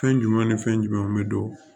Fɛn jumɛn ni fɛn jumɛnw bɛ don